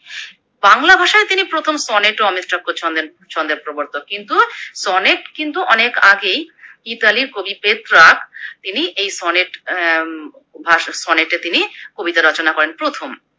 বাংলা ভাষায় তিনি প্রথম সনেট ও অমিত্রাক্ষর ছন্দের ছন্দের প্রবর্তক, কিন্তু সনেট কিন্তু অনেক আগেই ইতালীর কবি পেত্রাক তিনি এই সনেট অ্যা উম ভাষ সনেট এ তিনি কবিতা রচনা করেন প্রথম।